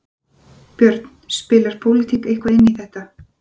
Björn: Spilar pólitík eitthvað inn í þetta?